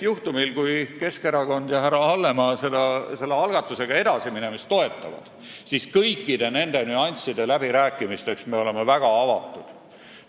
Juhtumil, kui Keskerakond ja härra Hallemaa selle algatusega edasiminemist toetavad, siis me oleme kõikide nende nüansside läbirääkimisteks väga avatud.